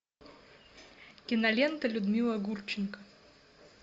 кинолента людмила гурченко